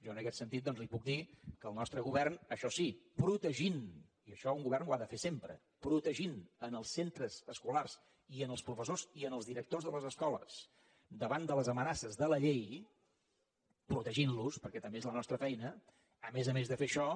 jo en aquest sentit doncs li puc dir que el nostre govern això sí protegint i això un govern ho ha de fer sempre els centres escolars i els professors i els directors de les escoles davant de les amenaces de la llei protegint los perquè també és la nostra feina a més a més de fer això